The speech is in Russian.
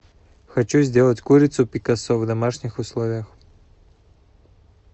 хочу сделать курицу пикассо в домашних условиях